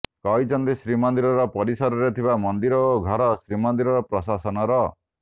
କହିଛନ୍ତି ଶ୍ରୀମନ୍ଦିର ପରିସରରେ ଥିବା ମନ୍ଦିର ଓ ଘର ଶ୍ରୀମନ୍ଦିର ପ୍ରଶାସନର